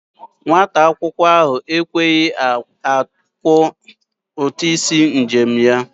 Nwata akwụkwọ ahụ ekweghi akwọ ụtụ isi njem ya.